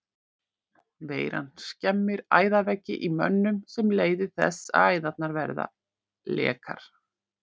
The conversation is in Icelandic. Veiran skemmir æðaveggi í mönnum sem leiðir þess að æðarnar verða lekar.